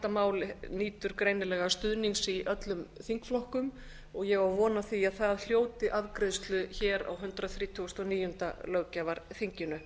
mál nýtur greinilega stuðnings í öllum þingflokkum ég á von á því að það hljóti afgreiðslu hér á hundrað þrítugasta og níunda löggjafarþinginu